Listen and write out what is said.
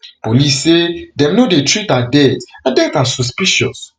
police say dem no dey treat her death her death as suspicious